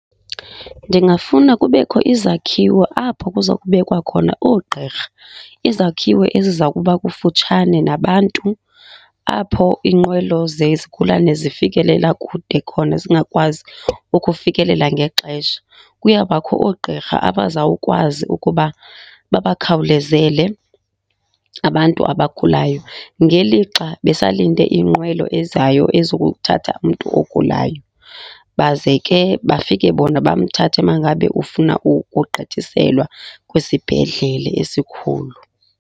Ndingafuna kubekho izakhiwo apho kuza kubekwa khona oogqirha. Izakhiwo eziza kuba kufutshane nabantu, apho iinqwelo zezigulana zifikelela kude khona, zingakwazi ukufikelela ngexesha. Kuyawubakho oogqirha abazawukwazi ukuba babakhawulezele abantu abagulayo ngelixa besalinde inqwelo ezayo ezokuthatha umntu ogulayo. Baze ke bafike bona bamthathe mangabe ufuna ukugqithiselwa kwisibhedlele esikhulu.